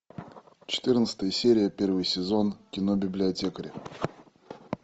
четырнадцатая серия первый сезон кино библиотекарь